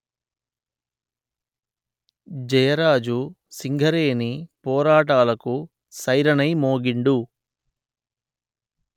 జయరాజు సింగరేణిపోరాటాలకు సైరనై మోగిండు